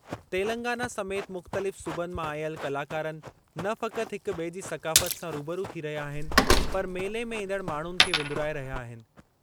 तेलंगाना समेति मुख़्तलिफ़ सूबनि मां आयल कलाकारनि न फ़क़ति हिक-ॿिए जी सक़ाफ़ति सां रूबरू थी रहिया आहिनि पर मेले में ईंदड़ माण्हुनि खे विंदुराए रहिया आहिनि।